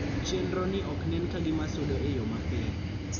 Chendroni oknen kagima sudo eyoo mapiyo